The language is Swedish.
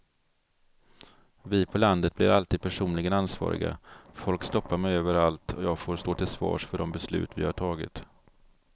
Vi på landet blir alltid personligen ansvariga, folk stoppar mig överallt och jag får stå till svars för de beslut vi har tagit.